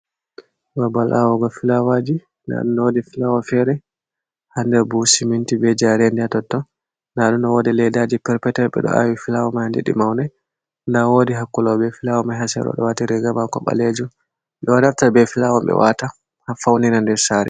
Babal awugo fulawaji nda ɗum ɗo wodi filawa fere ha nder buhu siminti be jerendi ha totton nda ɗum wodi leddaji per petel ɓeɗo awi fulawa man ha nder ɗi maunai nda wodi hakkulao be filawa man ha sero ɗo wati riga mako ɓalejum, ɓeɗo naftira be fulawa ɓe wata ha fauninra nder sare.